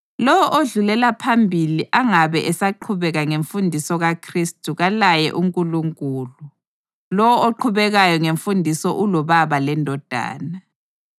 Lowo odlulela phambili angabe esaqhubeka ngemfundiso kaKhristu kalaye uNkulunkulu; lowo oqhubekayo ngemfundiso uloBaba leNdodana.